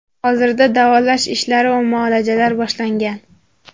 Hozirda davolash ishlari va muolajalar boshlangan.